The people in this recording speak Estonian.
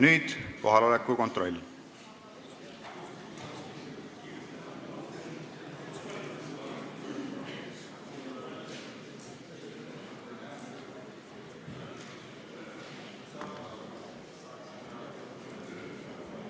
Nüüd kohaloleku kontroll.